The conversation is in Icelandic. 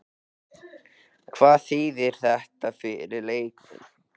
Hvað þýðir þetta fyrir leikmenn?